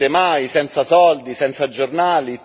non ce la farete mai, senza soldi, senza giornali...